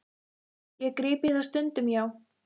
Ég gríp í það stundum, já.